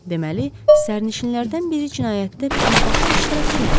Deməli, sərnişinlərdən biri cinayətdə birbaşa iştirak eləməyib.